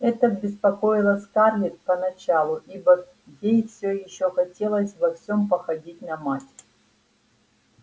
это беспокоило скарлетт поначалу ибо ей все ещё хотелось во всем походить на мать